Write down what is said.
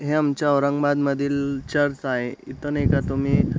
हे आमचे औरंगाबाद मधील चर्च आहे इथं नय का तुम्ही--